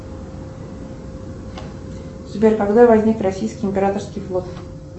сбер когда возник российский императорский флот